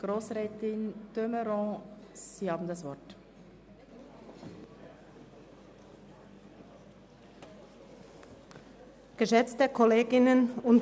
Abbau bei den Gartenbauschulen Oeschberg und Hünibach (Massnahme 48.4.1): Ablehnen der Massnahme.